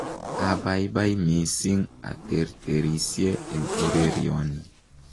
Abaibai missing aterterisye eng ureryoni